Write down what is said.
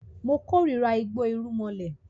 Mo kórira igbó irúmọlẹ̀